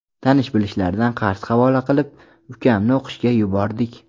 Tanish-bilishlardan qarz havola qilib, ukamni o‘qishga yubordik.